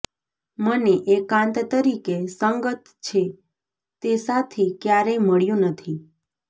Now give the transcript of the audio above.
મને એકાંત તરીકે સંગત છે તે સાથી ક્યારેય મળ્યું નથી